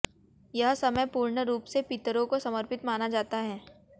यह समय पूर्ण रूप से पितरों को समर्पित माना जाता है